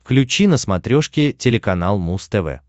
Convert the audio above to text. включи на смотрешке телеканал муз тв